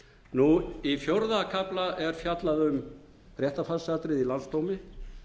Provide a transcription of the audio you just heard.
fullkomlega í fjórða kafla er fjallað um réttarfarsatriði í landsdómi